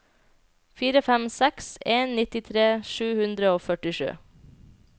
fire fem seks en nittitre sju hundre og førtisju